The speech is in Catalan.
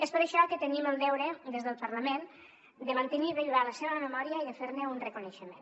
és per això que tenim el deure des del parlament de mantenir viva la seva memòria i de fer ne un reconeixement